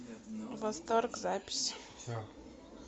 восторг запись